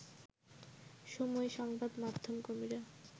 সময় সংবাদ মাধ্যম কর্মীরা